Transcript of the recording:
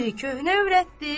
Biri köhnə övrətdir.